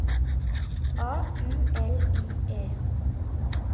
A U L I E